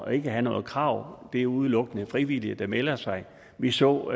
at have noget krav det er udelukkende frivillige der melder sig vi så